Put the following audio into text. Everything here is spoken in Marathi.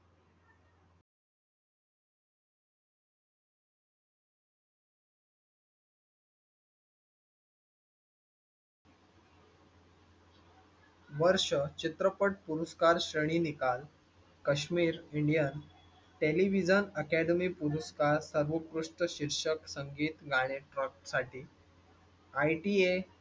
वर्ष चित्रपट पुरस्कार, श्रेणी निकाल काश्मीर indian television अकादमी पुरस्कार, सर्वोत्कृष्ट शीर्षक, संगीत गाणे साठी ITA